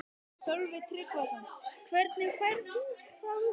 Sölvi Tryggvason: Hvernig færð þú það út?